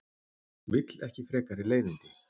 Vill ekki frekari leiðindi.